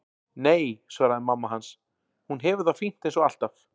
Nei, svaraði mamma hans, hún hefur það fínt eins og alltaf.